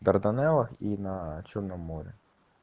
дарданелла и на чёрном море